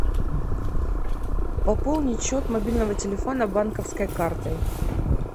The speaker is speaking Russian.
пополнить счет мобильного телефона банковской картой